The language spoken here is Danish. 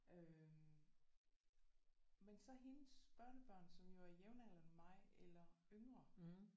Øh men så hendes børnebørn som jo er jævnaldrende med mig eller yngre